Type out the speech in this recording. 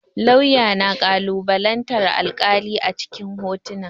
Lauya na kalubalantan alƙali a cikin kotu.